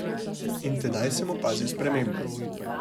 In tedaj sem opazil spremembo.